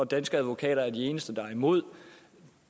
danske advokater er de eneste der er imod